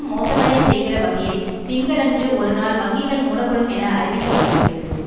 மோசமடையச் செய்கிற வகையில் திங்களன்று ஒரு நாள் வங்கிகள் மூடப்படும் என அறிவிக்கப்பட்டிருக்கிறது